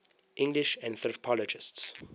english anthropologists